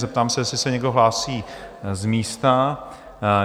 Zeptám se, jestli se někdo hlásí z místa?